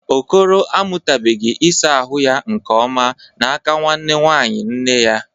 Okoro amụtabụghị ịsa ahụ ya nke ọma n'aka nwanne nwanyị nne ya.